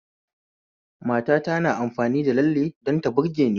Matata na amfani da lalle don ta burgeni